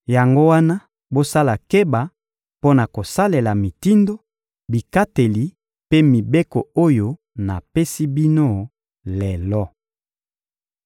Yango wana, bosala keba mpo na kosalela mitindo, bikateli mpe mibeko oyo napesi bino lelo.